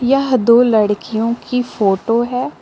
यह दो लड़कियों की फोटो हैं।